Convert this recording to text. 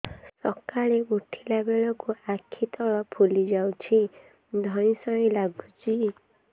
ସକାଳେ ଉଠିଲା ବେଳକୁ ଆଖି ତଳ ଫୁଲି ଯାଉଛି ଧଇଁ ସଇଁ ଲାଗୁଚି